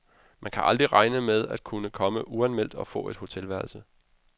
Man kan aldrig regne med at kunne komme uanmeldt og få et hotelværelse.